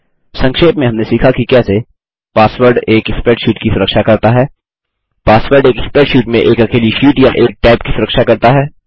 संक्षेप में हमने सीखा कि कैसे पासवर्ड एक स्प्रेडशीट की सुरक्षा करता है पासवर्ड एक स्प्रेडशीट में एक अकेली शीट या एक टैब की सुरक्षा करता है